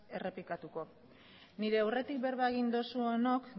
errepikatuko nire aurretik berba egin duzuenok